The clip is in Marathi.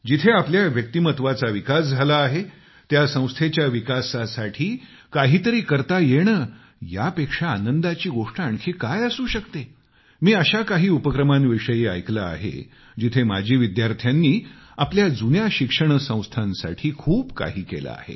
जिथे आपल्या व्यक्तिमत्वाचा विकास झाला आहे त्या संस्थेच्या विकासासाठी काहीतरी करता येणं यापेक्षा आनंदाची गोष्ट आणखी काय असू शकते मी अशा काही उपक्रमांविषयी ऐकलं आहे जिथे माजी विद्यार्थ्यांनी आपल्या जुन्या शिक्षणसंस्थांसाठी खूप काही केलं आहे